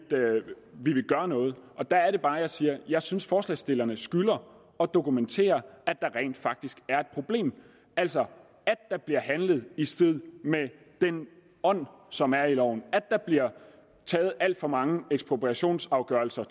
vi vil gøre noget og der er det bare jeg siger jeg synes at forslagsstillerne skylder at dokumentere at der rent faktisk er et problem altså at der bliver handlet i strid med den ånd som er i loven at der bliver truffet alt for mange ekspropriationsafgørelser